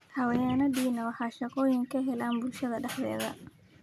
Xayawaankani waxay shaqooyin ka helaan bulshada dhexdeeda.